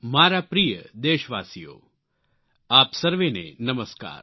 મારા પ્રિય દેશવાસીઓ આપ સર્વેને નમસ્કાર